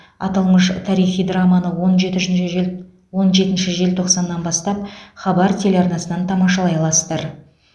аталмыш тарихи драманы он жетінші жел он жетінші желтоқсаннан бастап хабар телеарнасынан тамашалай аласыздар